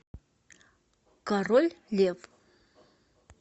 король лев